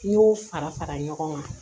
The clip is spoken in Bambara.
N y'o fara fara ɲɔgɔn kan